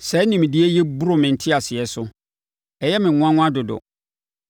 Saa nimdeɛ yi boro me nteaseɛ so, ɛyɛ me nwanwa dodo.